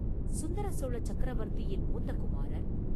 சுந்தரசோழ சக்கரவர்த்தியின் மூத்த குமாரர்.